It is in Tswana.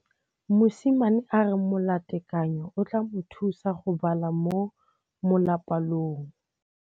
Mosimane a re molatekanyô o tla mo thusa go bala mo molapalong.